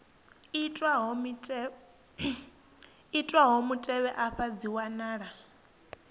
itwaho mutevhe afha dzi wanala